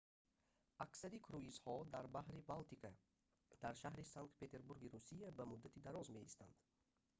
аксари круизҳо дар баҳри балтика дар шаҳри санкт петербурги русия ба муддати дароз меистанд